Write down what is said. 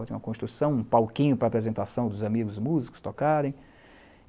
Tinha uma construção, um palquinho para apresentação dos amigos músicos tocarem.